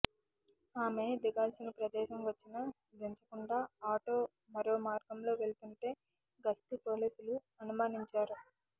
ఆమె దిగాల్సిన ప్రదేశం వచ్చినా దించకుండా ఆటో మరో మార్గంలో వెళ్తుంటే గస్తీ పోలీసులు అనుమానించారు